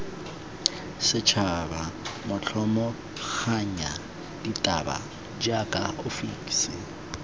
setšhaba motlhomaganya ditaba jaaka ofisi